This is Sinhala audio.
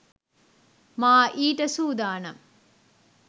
මා ඊට සූදානම්